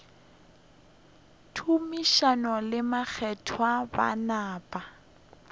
tumiši le mokgethwa ba napa